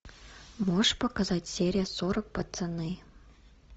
можешь показать серия сорок пацаны